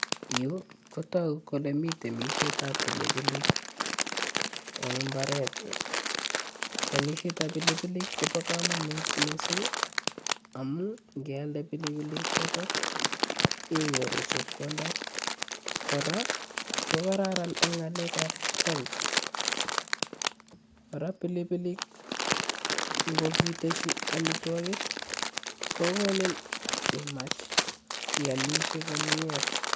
Yuu ko tokuk kole miten temishet ab pilipilik en imbaretngung, temishet ab pilipilik kobo komonut missing amun ingealda pilipilik choton iyoruu chepkondok. Koraa ko kararan en ngalek ak health, koraa pilipilik ko ikiteshi omitwokik kokonin imach iomishe komie.